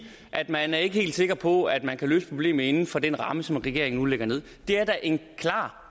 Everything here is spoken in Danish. at man ikke er helt sikker på at man kan løse problemet inden for den ramme som regeringen nu lægger nederst det er da en klar